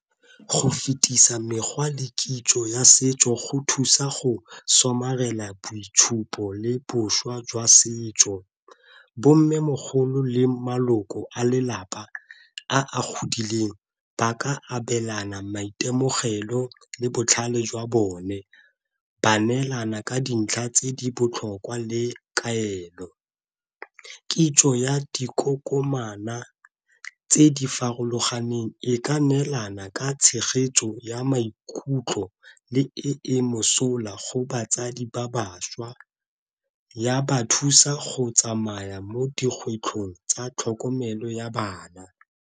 Go fetisa mekgwa le kitso ya setso go thusa go somarela boitshupo le boswa jwa setso, bo mmemogolo le maloko a lelapa a a godileng ba ka abelana maitemogelo le botlhale jwa bone, ba neelana ka dintlha tse di botlhokwa le kaelo. Kitso ya dikokomana tse di farologaneng e ka neelana ka tshegetso ya maikutlo le e e mosola go batsadi ba bašwa, ya ba thusa go tsamaya mo dikgwetlhong tsa tlhokomelo ya bana.